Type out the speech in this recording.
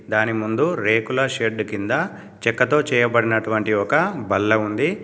దాని ముందు రేకుల షెడ్డు కింద చెక్కతో చేయబడినటువంటి ఒక బల్ల ఉంది.